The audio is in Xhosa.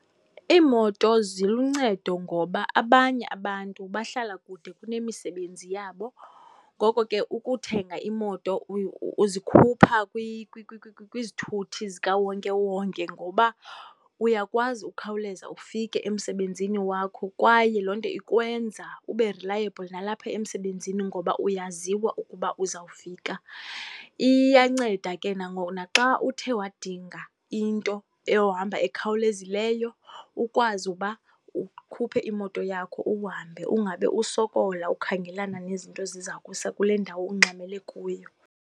Iimoto ziluncedo ngoba abanye abantu bahlala kude kunemisebenzi yabo. Ngoko ke ukuthenga imoto uzikhupha kwizithuthi zikawonkewonke ngoba uyakwazi ukukhawuleza ufike emsebenzini wakho, kwaye loo nto ikwenza ube reliable nalapha emsebenzini ngoba uyaziwa ukuba uzawufika. Iyanceda ke naxa uthe wadinga into eyohamba ekhawulezileyo, ukwazi uba ukhuphe imoto yakho uhambe, ungabe usokola ukhangelana nezinto eziza kusa kule ndawo ungxamele kuyo.